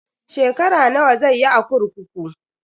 Shekara nawa zai yi a kurkuku?